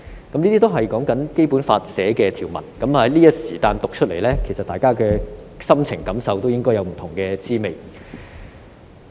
以上也是《基本法》的條文，我在這時候讀出來，相信大家都百般滋味在心頭。